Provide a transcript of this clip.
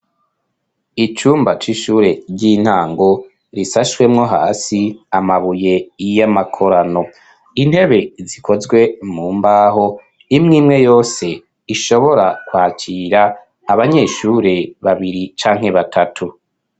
icumba c'ishure ry'intango risashwemwo hasi amabuye iy'amakorano intebe zikozwe mu mbaho imwimwe yose ishobora kwakira abanyeshure babiri canke batatu